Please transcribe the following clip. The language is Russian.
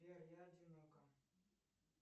сбер я одинока